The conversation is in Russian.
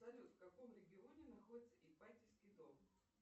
салют в каком регионе находится ипатьевский дом